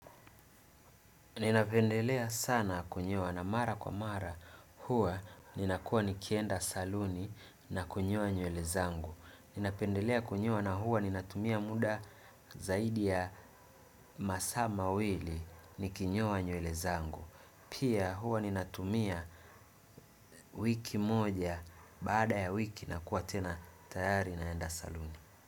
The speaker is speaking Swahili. Ninapendelea sana kunyoa na mara kwa mara huwa ninakuwa nikienda saluni na kunyoa nywele zangu. Ninapendelea kunyoa na huwa ninatumia muda zaidi ya masaa mawili nikinyoa nywele zangu. Pia huwa ninatumia wiki moja baada ya wiki nakuwa tena tayari naenda saluni.